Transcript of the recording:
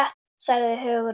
sagði Hugrún.